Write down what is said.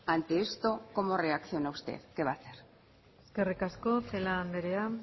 ante esto como reacciona usted qué va a hacer eskerrik asko celaá andrea